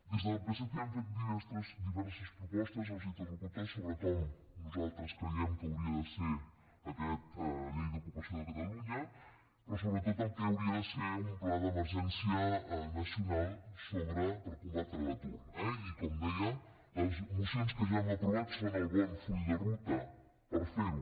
des del psc hem fet diverses propostes als interlocutors sobre com nosaltres creiem que hauria de ser aquesta llei d’ocupació de catalunya però sobretot el que hauria de ser un pla d’emergència nacional per combatre l’atur eh i com deia les mocions que ha hem aprovat són el bon full de ruta per fer ho